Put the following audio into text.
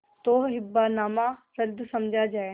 तो हिब्बानामा रद्द समझा जाय